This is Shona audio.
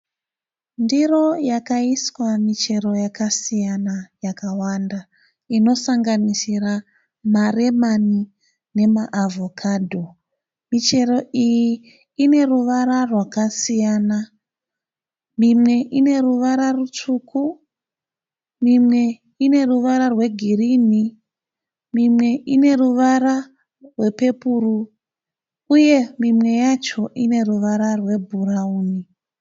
Ndiro yakaiswa michero yakasiyana yakawanda inosanganisira maremani nemaavhokadho michero iyi ine ruvara rwakasiyana mimwe ine ruvara rutsvuku mimwe ine ruvara rwegirini mimwe ine ruvara rwepepuru uye mimwe yacho ine ruvara rwebhurawuni.